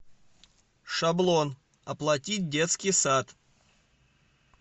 шаблон оплатить детский сад